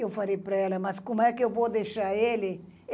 Eu falei pra ela, mas como é que eu vou deixar ele?